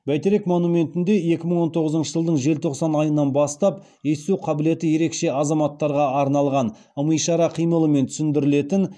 бәйтерек монументінде екі мың он тоғызыншы жылдың желтоқсан айынан бастап есту қабілеті ерекше азаматтарға арналған ым ишара қимылмен түсіндірілетін